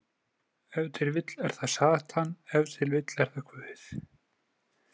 Ef til vill er það satan, ef til vill er það Guð.